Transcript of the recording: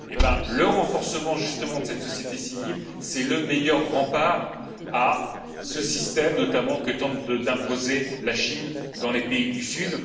Eh bien le renforcement, justement, de cette société civile, est le meilleur rempart à ce système que tente notamment d'imposer la Chine dans les pays du Sud.